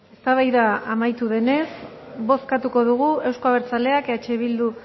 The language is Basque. eztabaida amaitu denez bozkatu dugu euzko abertzaleak eh bildu